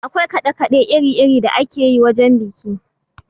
Akwai kaɗe kaɗe iri iri da akeyi wajen biki.